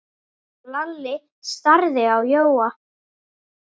Lalli starði á Jóa.